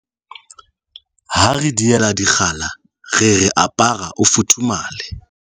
Ha re diela dikgala re re apara, o futhumale!